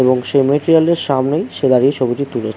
এবং সে মেটেরিয়ালের সামনেই সে দাঁড়িয়ে ছবিটি তুলেছে ।